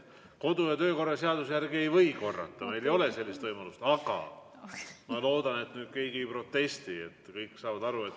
Kodu- ja töökorra seaduse järgi ei või korrata, meil ei ole sellist võimalust, aga ma loodan, et nüüd keegi ei protesti, kõik saavad aru.